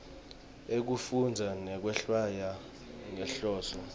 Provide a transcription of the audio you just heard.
ekufundza nekwehlwaya ngenhloso